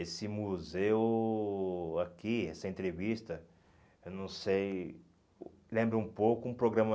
Esse museu aqui, essa entrevista, eu não sei... Lembra um pouco um programa...